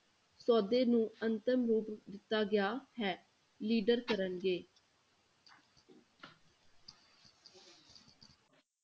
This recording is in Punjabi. ਸੌਦੇ ਨੂੰ ਅੰਤਮ ਰੂਪ ਦਿੱਤਾ ਗਿਆ ਹੈ leader ਕਰਨਗੇ।